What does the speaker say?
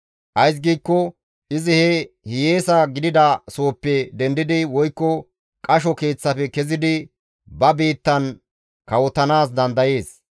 Ays giikko izi he hiyeesa gidida sohoppe dendidi woykko qasho keeththafe kezidi ba biittan kawotanaas dandayees.